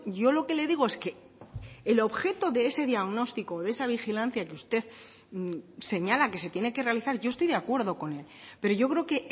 yo lo que le digo es que el objeto de ese diagnóstico o de esa vigilancia que usted señala que se tiene que realizar yo estoy de acuerdo con él pero yo creo que